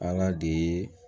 Ala de ye